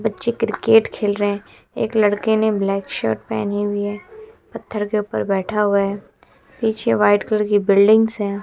बच्चे क्रिकेट खेल रहे हैं एक लड़के ने ब्लैक शर्ट पहनी हुई है पत्थर के ऊपर बैठा हुआ है पीछे व्हाइट कलर की बिल्डिंग्स हैं।